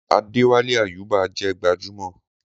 Adéwálé Àyúbà jẹ́ gbajúmọ̀